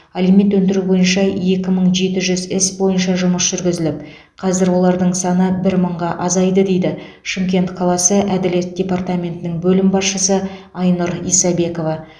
алимент өндіру бойынша екі мың жеті жүз іс бойынша жұмыс жүргізіліп қазір олардың саны бір мыңға азайды дейді шымкент қаласы әділет департаментінің бөлім басшысы айнұр исабекова